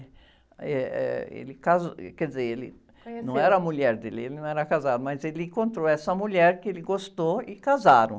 Eh, eh, ele casou, e, quer dizer, ele, não era a mulher dele, ele não era casado, mas ele encontrou essa mulher que ele gostou e casaram.